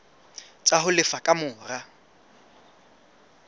tsa ho lefa ka mora